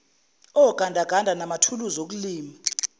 ogandaganda manathuluzi okulima